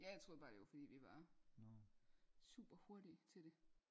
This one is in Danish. Ja jeg troede bare det var fordi vi var super hurtige til det